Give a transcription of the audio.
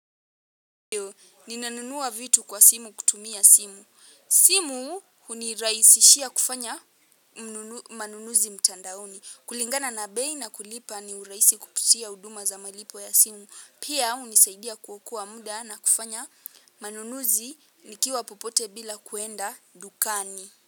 Ninanunua vitu kwa simu kutumia simu. Simu hunirahisishia kufanya manunuzi mtandaoni. Kulingana na bei na kulipa ni urahisi kupitia huduma za malipo ya simu. Pia hunisaidia kuokoa muda na kufanya manunuzi nikiwa popote bila kuenda dukani.